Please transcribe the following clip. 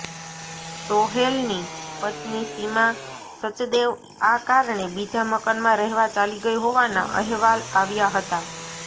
સોહેલની પત્ની સીમા સચદેવ આ કારણે બીજા મકાનમાં રહેવા ચાલી ગઈ હોવાના અહેવાલ આવ્યા હતા